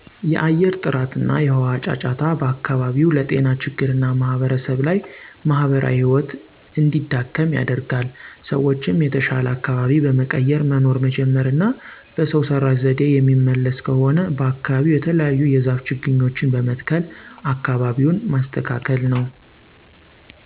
የአየር ጥረት እና የውሃ ጫጫታ በአከባቢው ለጤና ችግር እና ማህበረሰብ ለይ ማህበራዊ ህይወት እንዲዳከም ያደርገል። ሰዎችም የተሻለ አካበቢ በመቀየር መኖር መጀመር እና በሰው ሰረሽ ዘዴ የሚመለስ ከሆነ በአከባቢው የተለያዩ የዛፍ ችግኞችን በመትከል አከባቢውን መስተካከል ነው